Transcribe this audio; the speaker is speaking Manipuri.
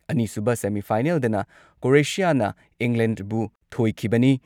ꯑꯅꯤꯁꯨꯕ ꯁꯦꯃꯤ ꯐꯥꯏꯅꯦꯜꯗꯅ ꯀ꯭ꯔꯣꯑꯦꯁꯤꯌꯥꯅ ꯏꯪꯂꯦꯟꯗꯕꯨ ꯊꯣꯏꯈꯤꯕꯅꯤ ꯫